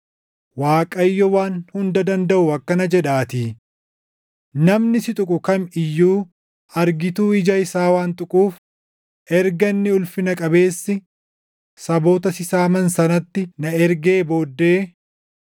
Waaqayyo Waan Hunda Dandaʼu akkana jedhaatii: “Namni si tuqu kam iyyuu argituu ija isaa waan tuquuf, erga Inni Ulfina Qabeessi saboota si saaman sanatti na ergee booddee,